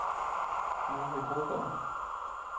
Mary Brogaard